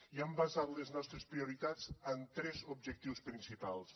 i hem basat les nostres prioritats en tres objectius principals